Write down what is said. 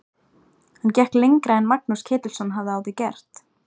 Hann gekk lengra en Magnús Ketilsson hafði áður gert.